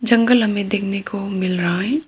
जंगल हमें देखने को मिल रहा है।